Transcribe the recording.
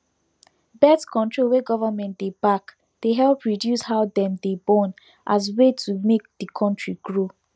birthcontrol wey government dey back dey help reduce how dem dey born as way to make di country grow